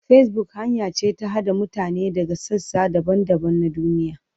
Facebook hanya ce ta haɗa mutane daga sassa daban-daban na duniya.